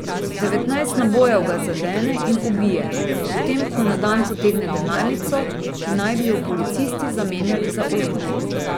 Devetnajst nabojev ga zadene in ubije, potem ko na dan potegne denarnico, ki naj bi jo policisti zamenjali za orožje.